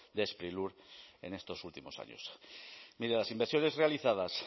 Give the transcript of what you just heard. de sprilur en estos últimos años mire las inversiones realizadas